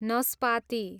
नस्पाती